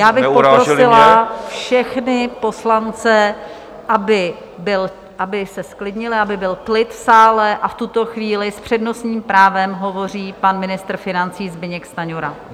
Já bych poprosila všechny poslance, aby se zklidnili, aby byl klid v sále, a v tuto chvíli s přednostním právem hovoří pan ministr financí Zbyněk Stanjura.